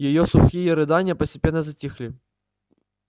её сухие рыдания постепенно затихли